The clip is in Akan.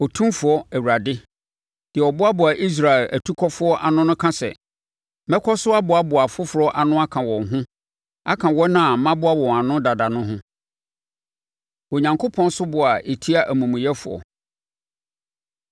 Otumfoɔ Awurade, deɛ ɔboaboa Israel atukɔfoɔ ano no ka sɛ: “Mɛkɔ so aboaboa afoforɔ ano aka wɔn ho aka wɔn a maboa wɔn ano dada no ho.” Onyankopɔn Soboɔ A Ɛtia Amumuyɛfoɔ